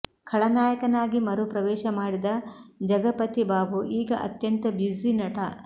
ಖಳನಾಯಕನಾಗಿ ಮರು ಪ್ರವೇಶ ಮಾಡಿದ ಜಗಪತಿ ಬಾಬು ಈಗ ಅತ್ಯಂತ ಬ್ಯುಸಿ ನಟ